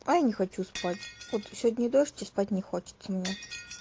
а я не хочу спать вот сегодня дождь и спать не хочется мне